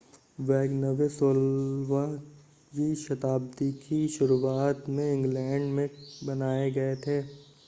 wagonway 16 वीं शताब्दी की शुरुआत में इंग्लैंड में बनाए गए थे